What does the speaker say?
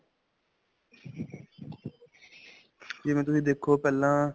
ਜਿਵੇਂ ਤੁਸੀਂ ਦੇਖੋ ਪਹਿਲਾਂ.